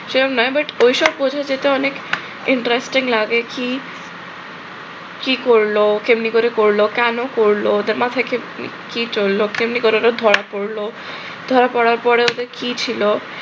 সেরম নয় but ঐসব বোঝা যেতে অনেক interesting লাগে কি কি করল, কেমনে করে করল, কেন করল, তার মাথায় কি চলল, কেমনে করে অরা ধরা পরল, ধরা পরার পরে ওতে কি ছিল?